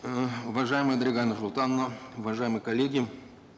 э уважаемая дарига нурсултановна уважаемые коллеги